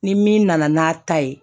Ni min nana n'a ta ye